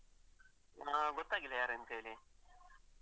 ಹಾ ಗೊತ್ತಾಗಿಲ್ಲ ಯಾರಂತ ಹೇಳಿ.